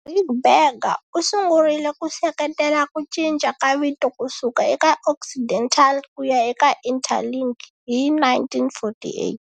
Ric Berger u sungurile ku seketela ku cinca ka vito kusuka eka Occidental kuya eka Interlingue hi 1948.